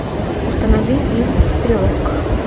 установи фильм стрелок